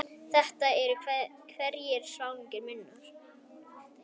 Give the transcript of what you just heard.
Þetta eru einhverjir svangir munnar.